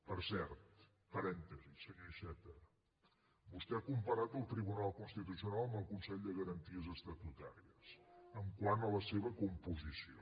per cert parèntesi senyor iceta vostè ha comparat el tribunal constitucional amb el consell de garanties estatutàries quant a la seva composició